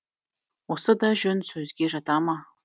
осы да жөн сөзге жата ма